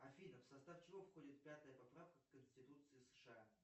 афина в состав чего входит пятая поправка в конституции сша